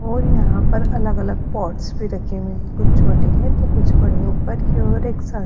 और यहां पर अलग अलग पॉट्स भी रखे हुए हैं कुछ छोटे हैं तो कुछ बड़े ऊपर की ओर एक--